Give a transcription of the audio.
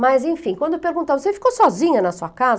Mas, enfim, quando eu perguntava, você ficou sozinha na sua casa?